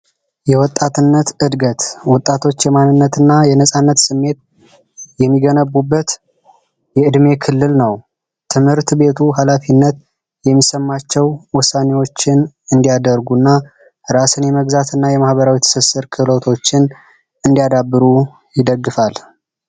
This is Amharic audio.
የወጣትነት እድገት ወጣቶች የማንነት እና የነፃነት ስሜት የሚገነቡበት የዕድሜ ክልል ነው። ትምህርት ቤቱ ሀላፊነት የሚሰማቸው ውሳኔዎች እንዲያደርጉ ራስን የመግዛት እና የማህበራዊ ትስስር ክህሎቶችን እንዲያዳብሩ ይደግፋል።